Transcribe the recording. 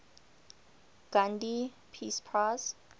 gandhi peace prize